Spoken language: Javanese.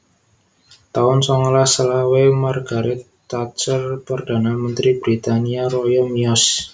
taun songolas selawe Margaret Thatcher Perdana Mentri Britania Raya miyos